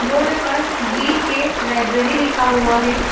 Board पर V K library लिखा हुआ है।